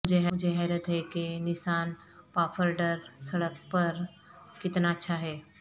مجھے حیرت ہے کہ نسان پاففرڈر سڑک پر کتنا اچھا ہے